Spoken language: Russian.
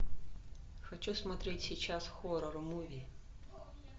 хочу смотреть сейчас хоррор муви